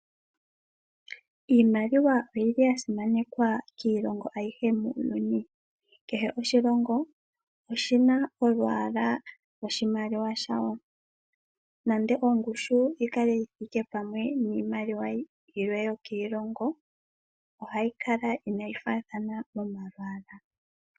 Iimaliwa oyili ya simanekwa kiilongo ayihe muuyuni. Kehe oshilongo oshina olwaalwa lwoshimaliwa shawo nando ongushu yi kale yithike pamwe niimaliwa yilwe yokiilongo ohayi kala inayi faathana momalwaala.